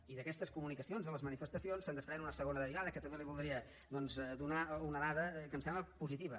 i d’aquestes comunicacions de les manifestacions se’n desprèn una segona derivada que també li voldria doncs donar una dada que em sembla positiva